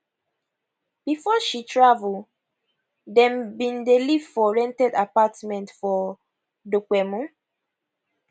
before she travel dem bin dey live for rented apartment for dopemu